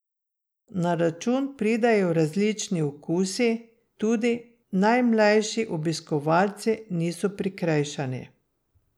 Na račun pridejo različni okusi, tudi najmlajši obiskovalci niso prikrajšani.